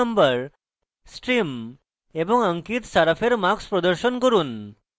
roll নম্বর stream এবং ankit saraf এর marks প্রদর্শন করুন